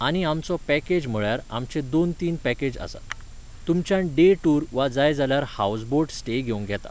आनी आमचो पॅकेज म्हळ्यार आमचे दोन तीन पॅकेज आसात. तुमच्यान डॅ टूर वा जाय जाल्यार हावज बोट स्टे घेवंक येता.